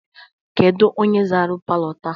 Kedu onye zara palọ taa?